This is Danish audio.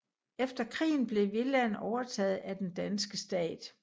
Efter krigen blev villaen overtaget af den danske stat